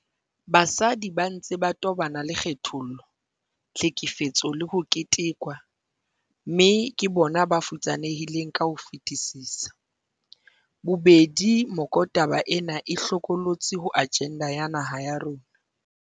Basadi ba ntse ba tobana le kgethollo, tlhekefetso le ho ketekwa, mme ke bona ba futsanehileng ka ho fetisisa. Bobedi mekotaba ena e hlokolotsi ho ajenda ya naha ya rona.